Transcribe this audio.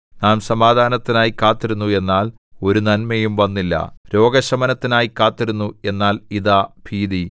നാം സമാധാനത്തിനായി കാത്തിരുന്നു എന്നാൽ ഒരു നന്മയും വന്നില്ല രോഗശമനത്തിനായി കാത്തിരുന്നു എന്നാൽ ഇതാ ഭീതി